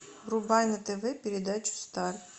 врубай на тв передачу стар